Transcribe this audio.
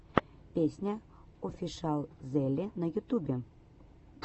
песня офишиалзеле на ютубе